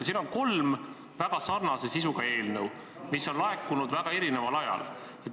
Siin on kolm väga sarnase sisuga eelnõu, mis on laekunud väga erineval ajal.